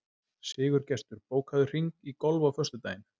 Sigurgestur, bókaðu hring í golf á föstudaginn.